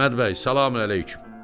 Əhməd bəy, salam əleyküm!